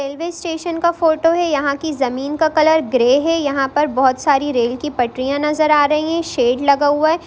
Railway station का photo है| यह की जमीन का कलर ग्रे है| यह पर बहुत सारी रेल की पटरियां नजर आ रही है| शैड लगा हूआ है।